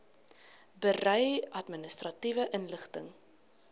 berei administratiewe inligting